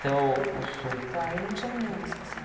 Até o o sul... Tá, e não tinha ninguém na estação.